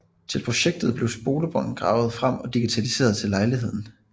Til projektet blev spolebånd gravet frem og digitaliseret til lejligheden